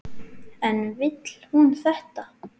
En vill hún þetta?